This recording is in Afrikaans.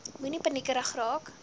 moenie paniekerig raak